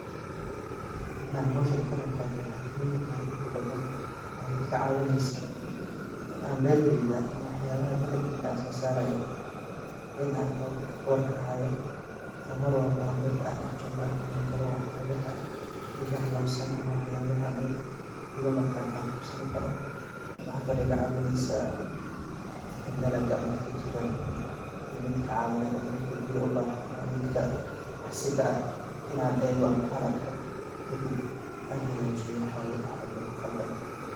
In aan howshan ka qiibqaato waxay muhiim utahay inta badan waxay iga caawinaysa in aan beertayda ama waxyaabaha dalagayga aan soo saaraayo in aan war kahaayo oo mar walba aan beerta aan dhex joogo aan ogaan karo waxyaabaha iga halaabsan ama waxyaabaha meel iga maqan aan qabsani karo. Waxa kale iga caawinaysaa in dalaga midka jiraniyo midka caawinaad ama midka biyo ubaahan ama midka wax si ka'ah in aan eego ama aan arko kadib aan hagaajiyo waxwalbo oo ka qaldan.